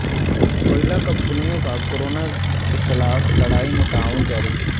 کوئلہ کمپنیوں کا کورونا کیخلاف لڑائی میں تعاون جاری